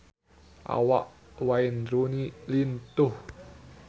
Awak Wayne Rooney lintuh